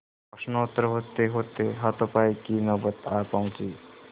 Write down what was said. प्रश्नोत्तर होतेहोते हाथापाई की नौबत आ पहुँची